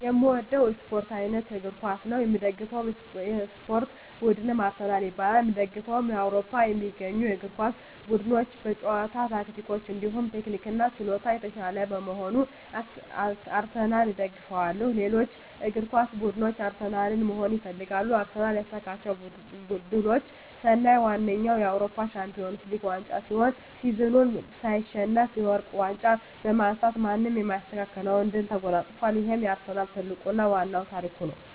የእምወደዉ የእስፖርት አይነት እግር ኳስ ነዉ። የምደግፈዉ የእስፖርት ቡድንም አርሰናል ይባላል። የእምደግፈዉም በአዉሮፖ ከሚገኙ የእግር ኳስ ቡድኖች በጨዋታ ታክቲክ እንዲሁም ቴክኒክና ችሎታ የታሻለ በመሆኑ አርሰናልን እደግፋለሁ። ሌሎች እግር ኳስ ብድኖች አርሰናልን መሆን ይፈልጋሉ። አርሰናል ያሳካቸዉ ድሎች ስናይ ዋነኛዉ የአዉሮፖ ሻንፒወንስ ሊግ ዋንጫ ሲሆን ሲዝኑን ሳይሸነፍ የወርቅ ዋንጫ በማንሳት ማንም የማይስተካከለዉን ድል ተጎናፅፋል ይሄም የአርሰናል ትልቁና ዋናዉ ታሪክ ነዉ።